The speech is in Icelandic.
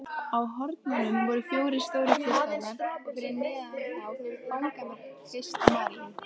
Á hornunum voru fjórir stórir kristallar og fyrir neðan þá fangamörk Krists og Maríu.